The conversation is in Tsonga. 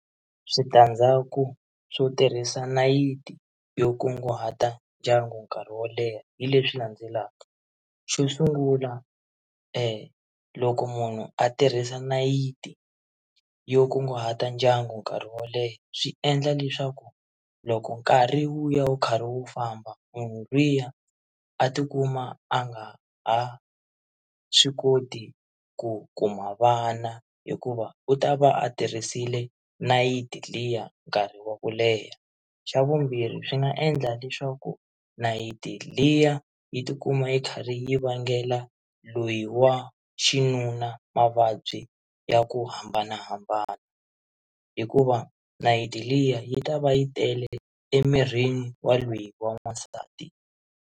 Switandzhaku swo tirhisa nayiti yo kunguhata ndyangu nkarhi wo leha hi leswi landzelaka xo sungula loko munhu a tirhisa nayiti yo kunguhata ndyangu nkarhi wo leha swi endla leswaku loko nkarhi wu ya wu karhi wu famba munhu lwiya a tikuma a nga ha swi koti ku kuma vana hikuva u ta va a tirhisile nayiti liya nkarhi wa ku leha, xa vumbirhi swi nga endla leswaku nayiti liya yi tikuma yi kha ri yi vangela loyi wa xinuna mavabyi ya ku hambanahambana hikuva nayiti liya yi ta va yi tele emirini wa loyi wa n'wasati.